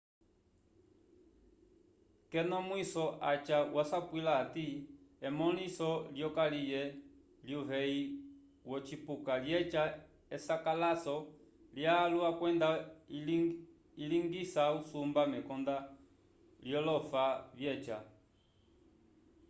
k'ekonomwiso aca wasapwila hati emõliso lyokaliye lyuveyi wocipuka lyeca esakalaso lyalwa kwenda ilingisa usumba mekonda lyolofa vyeca